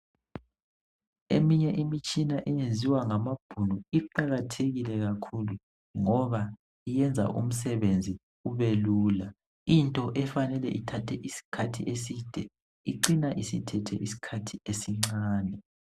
Eminye imitshina eyenziwa ngamabhunu iqakathekile kakhulu ngoba iyenza umsebenzi ubelula. Into efanele ithathe isikhathi eside icina isithethe isikhathi esincane.